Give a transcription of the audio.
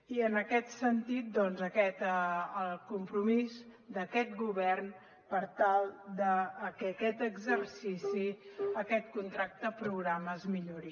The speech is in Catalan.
i en aquest sentit doncs aquest compromís d’aquest govern per tal de que a aquest exercici aquest contracte programa es millori